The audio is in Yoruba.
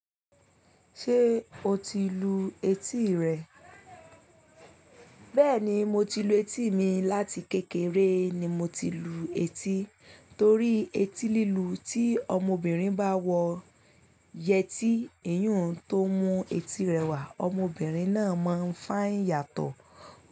Ṣé o ti lu etí rẹ? Bẹ́ẹ̀ni, mo ti lu etí mi láti kékeré ni mo ti lu etí torí eti lílu tí ọmọbìnrin bá wọ yẹtí, iyùn tó mú eti rẹwà, ọmọbìnrin náà máa ń fá ìyàtọ̀.